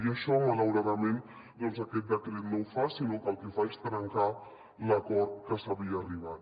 i això malauradament doncs aquest decret no ho fa sinó que el que fa és trencar l’acord a què s’havia arribat